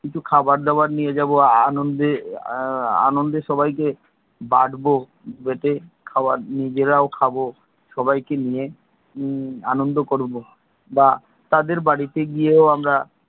কিছু খাবার দাবার নিয়ে যাব। আনন্দে এর আনন্দে সবাই কে বাটবো, বেটে খাওয়ার নিজেরাও খাবো সবাই কে নিয়ে আনন্দ করবো। বা তাদের বাড়িতে গিয়ে,